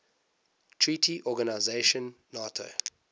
treaty organization nato